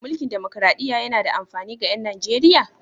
Mulkin demokraɗiyya yana da amfani ga 'yan Nijeriya?